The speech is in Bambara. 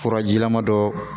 Furajilama dɔ